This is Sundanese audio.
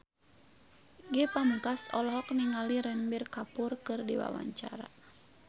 Ge Pamungkas olohok ningali Ranbir Kapoor keur diwawancara